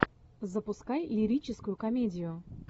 запускай лирическую комедию